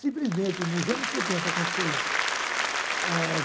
Simplesmente, nos anos setenta aconteceu isso. É